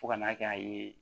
Fo ka n'a kɛ a ye